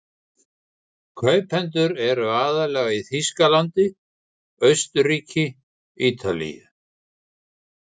Kaupendur eru aðallega í Þýskalandi, Austurríki, Ítalíu